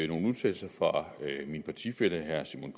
nogle udtalelser fra min partifælle herre simon